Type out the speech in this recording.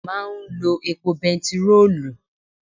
Ọkọ̀ máa ń lo epo bẹntiróòlù.